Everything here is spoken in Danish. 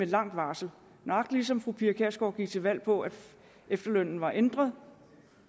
langt varsel nøjagtig ligesom fru pia kjærsgaard gik til valg på at efterlønnen var ændret